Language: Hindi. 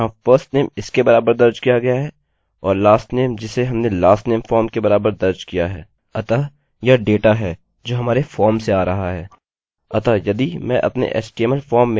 अतः यदि मैं अपने html फॉर्म में alex garrett टाइप करूँ और उसे जमा करूँ तब यह alex के बराबर होगा और यह garrett के बराबर होगा